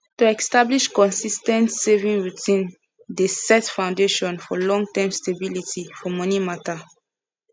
to establish consis ten t saving routine dey set foundation for longterm stability for money matter